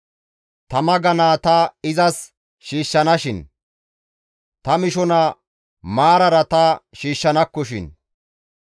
ta maganaa ta izas shiishshanakkoshin; ta mishaza maarara ta izs shiishshanakkoshin.